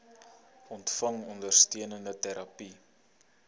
ontvang ondersteunende terapie